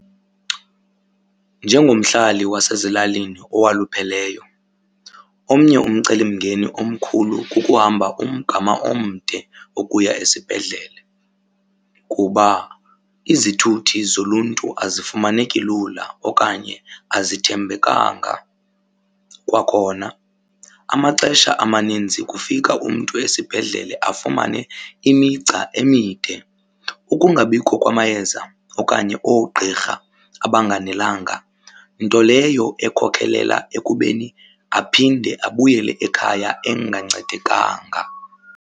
Njengomhlali wasezilalini owalupheleyo, omnye umcelimngeni omkhulu kukuhamba umgama omde ukuya esibhedlele kuba izithuthi zoluntu azifumaneki lula okanye azithembekanga. Kwakhona, amaxesha amaninzi kufika umntu esibhedlele afumane imigca emide, ukungabikho kwamayeza okanye oogqirha abanganelanga nto leyo ekhokelela ekubeni aphinde abuyele ekhaya engancedekanga.